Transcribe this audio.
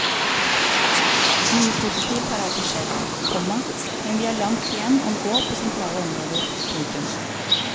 Mye positivt har altså skjedd, komma men vi har langt igjen å gå på sentrale områder. punktum